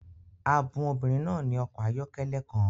A bun obìnrin náà ní ọkọ̀ ayọ́kẹ́lẹ́ kan